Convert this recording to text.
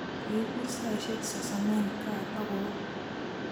kipur saishe sasamen Kaa akowo